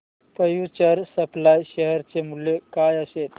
future supply share चे मूल्य काय असेल